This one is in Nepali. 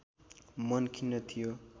मन खिन्न थियो